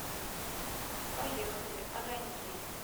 поехали огоньки